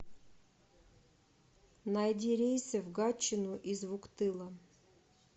найди рейсы в гатчину из вуктыла